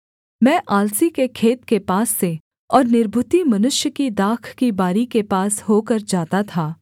मैं आलसी के खेत के पास से और निर्बुद्धि मनुष्य की दाख की बारी के पास होकर जाता था